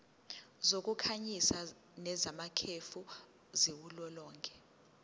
zokukhanyisa nezamakhefu ziwulolonga